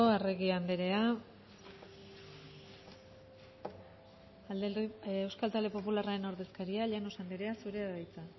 arregi andrea euskal talde popularraren ordezkaria llanos andrea zurea da hitza